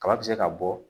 Kaba bɛ se ka bɔ